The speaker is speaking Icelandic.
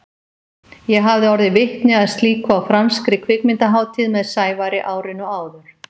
Ég hafði orðið vitni að slíku á franskri kvikmyndahátíð með Sævari árinu áður.